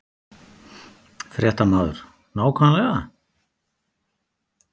Fréttamaður: Nákvæmlega?